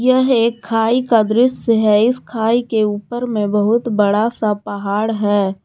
यह एक खाई का दृश्य है इस खाई के ऊपर में बहुत बड़ा सा पहाड़ है।